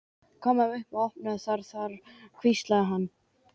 Komum upp og opnum það þar hvíslaði hann.